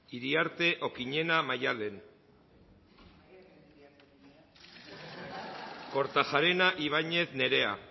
iriarte okiñena maddalen kortajarena ibañez nerea